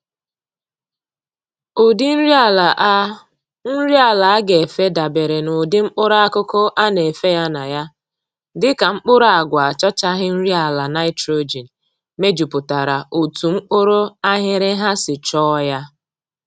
Ụdị nri ala a nri ala a ga-efe dabeere n'ụdị mkpụrụakụkụ a na-efe ya na ya, dịka mkpụrụ agwa achọchaghị nri ala naịtrojin mejupụtara otu mkpụrụ aghịrịgha si chọọ ya